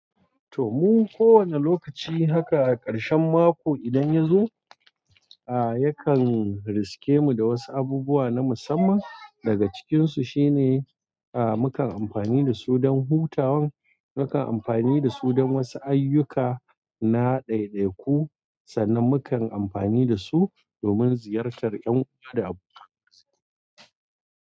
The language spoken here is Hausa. To mun ko wani lokaci haka a karshen mako idan ya zo, a yakan riske mu da wasu abubuwa na musamman daga cikinsu shine a mukan amfani da su don hutawan, mukan amfani da su don wasu ayyuka na dai-daiku, sannan mukan amfani da su domin ziyartar yan uwa da abokansu.